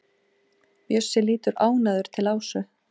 Bjössi lítur ánægður til Ásu.